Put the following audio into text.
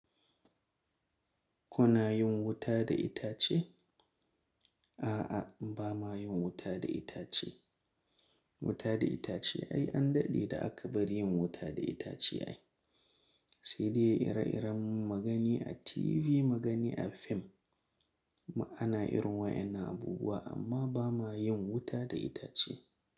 Ku na yin wuta da itace? A'a, ba ma yin wuta da itace. Wuta da itace ai an daɗe da aka bari yin wuta da itace. Sai dai ire-iren mugani a TV, mugani a fim, ana irin wayannan abubuwa amma ba ma yin wuta da itace.